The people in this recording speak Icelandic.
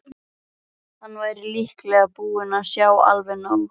Hann væri líklega búinn að sjá alveg nóg.